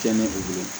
Kɛnɛ ko